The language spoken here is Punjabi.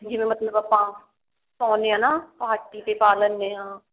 ਵੀ ਮਤਲਬ ਆਪਾਂ ਨੇ ਹਨਾ party ਤੇ ਪਾ ਲੈਣੇ ਹਾਂ